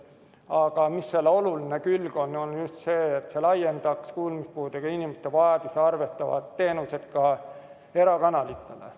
Aga selle oluline külg on just see, et see laiendaks kuulmispuudega inimeste vajadusi arvestavad teenused ka erakanalitele.